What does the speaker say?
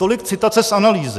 Tolik citace z analýzy.